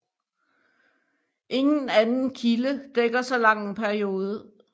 Ingen anden kilde dækker så lang en periode